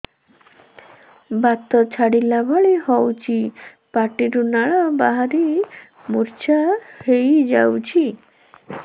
ବାତ ଛାଟିଲା ଭଳି ହଉଚି ପାଟିରୁ ଲାଳ ବାହାରି ମୁର୍ଚ୍ଛା ହେଇଯାଉଛି